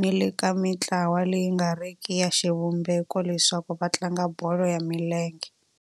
ni le ka mintlawa leyi nga riki ya xivumbeko leswaku va tlanga bolo ya milenge.